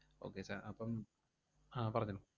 Okay sir അപ്പം ആഹ് പറഞ്ഞോളൂ.